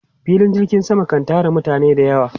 Filin jirgin sama kan tara mutane da yawa.